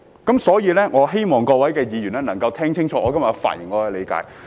因此，我希望各位議員能夠聽清楚我今天的發言，明白我的理解。